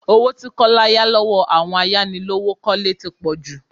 Owó tí Kọ́lá yá lọ́wọ́ àwọn ayánilówókọ́lẹ́ tí pò jù.